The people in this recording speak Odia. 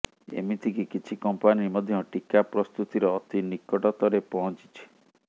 ଏମତିକି କିଛି କମ୍ପାନୀ ମଧ୍ୟ ଟୀକା ପ୍ରସ୍ତୁତିର ଅତି ନିକଟତରେ ପହଞ୍ଚିଛି